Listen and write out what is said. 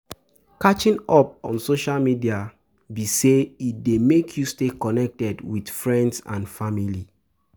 Catching up on social media be say e dey make you stay connected with friends and family.